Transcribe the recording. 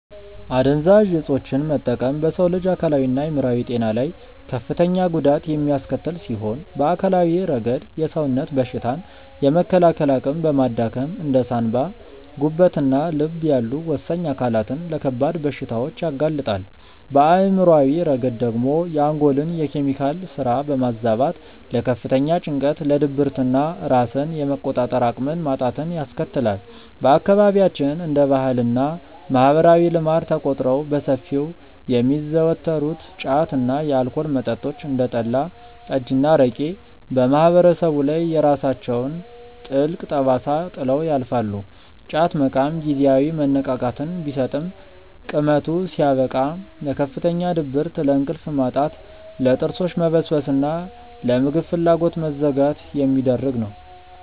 አደንዛዥ እፆችን መጠቀም በሰው ልጅ አካላዊና አእምሯዊ ጤና ላይ ከፍተኛ ጉዳት የሚያስከትል ሲሆን፣ በአካላዊ ረገድ የሰውነትን በሽታ የመከላከል አቅም በማዳከም እንደ ሳንባ፣ ጉበትና ልብ ያሉ ወሳኝ አካላትን ለከባድ በሽታዎች ያጋልጣል፤ በአእምሯዊ ረገድ ደግሞ የአንጎልን የኬሚካል ስራ በማዛባት ለከፍተኛ ጭንቀት፣ ለድብርትና ራስን የመቆጣጠር አቅምን ማጣትን ያስከትላል። በአካባቢያችን እንደ ባህልና ማህበራዊ ልማድ ተቆጥረው በሰፊው የሚዘወተሩት ጫት እና የአልኮል መጠጦች (እንደ ጠላ፣ ጠጅና አረቄ) በማህበረሰቡ ላይ የራሳቸውን ጥልቅ ጠባሳ ጥለው ያልፋሉ፤ ጫት መቃም ጊዜያዊ መነቃቃትን ቢሰጥም ቅመቱ ሲያበቃ ለከፍተኛ ድብርት፣ ለእንቅልፍ ማጣት፣ ለጥርሶች መበስበስና ለምግብ ፍላጎት መዘጋት የሚዳርግ ነው።